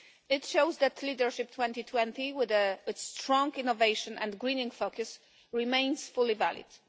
It shows that Leadership 2020, with its strong innovation and greening focus, remains fully valid.